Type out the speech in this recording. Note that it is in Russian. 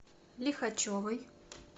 лихачевой